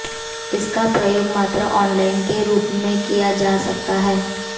इसका प्रयोग मात्र ऑनलाइन के रूप में ही किया जा सकता है